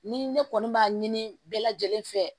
Ni ne kɔni b'a ɲini bɛɛ lajɛlen fɛ